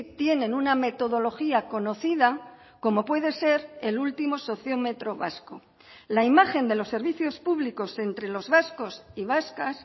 tienen una metodología conocida como puede ser el último sociómetro vasco la imagen de los servicios públicos entre los vascos y vascas